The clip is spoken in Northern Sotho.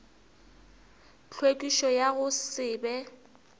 tlhwekišo ya go se be